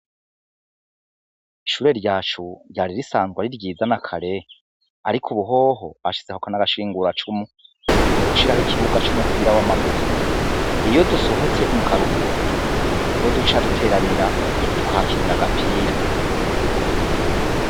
Ishure ryacu ryari risanzwe ari ryiza na kare ariko ubu hoho bashizeko n'amashinguracumu mu gushiraho ikibuga c'umupira w'amaguru, iyo dusohotse mu karuhuko niho duca duteranira tukahakinira agapira.